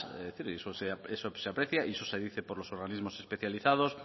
eso se aprecia y eso se dice por los organismos especializados